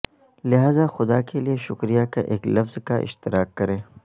لہذا خدا کے لئے شکریہ کا ایک لفظ کا اشتراک کریں